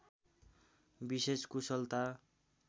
विशेष कुशलता